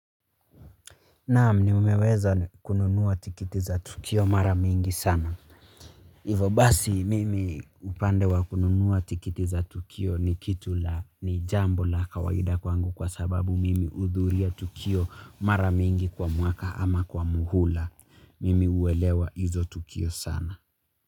Naam nimeweza kununua tikiti za Tukio mara mingi sana. Ivo basi mimi upande wa kununua tikiti za Tukio ni kitu la ni jambo la kawaida kwangu kwa sababu mimi hudhuria Tukio mara mingi kwa mwaka ama kwa muhula. Mimi huelewa hizo Tukio sana.